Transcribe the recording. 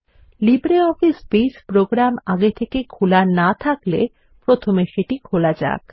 LibreOffice Base program আগে থেকে খোলা না থাকলে প্রথমে সেটি খোলা যাক